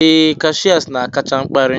ee, Cashiers na-akacha mkparị.